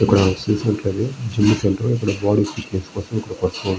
ఇక్కడ చూసినట్లయితే gym centre . ఇక్కడ బాడీ ఫిట్నెస్ కోసం ఇక్కడికి వస్తూ --